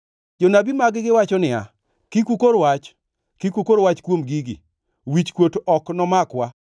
Jonabi mag-gi wacho niya, “Kik ukor wach. Kik ukor wach kuom gigi; wichkuot ok nomakwa.”